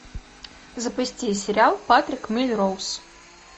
запусти сериал патрик мелроуз